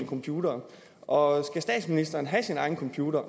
computere og om statsministeren have sin egen computer